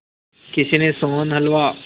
किसी ने सोहन हलवा